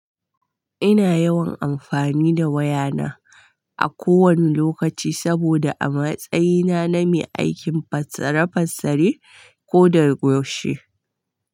Ina yawan amfani da wayana a kowane lokaci saboda a matsayina na mai aikin fassara fassari ko da gaishe.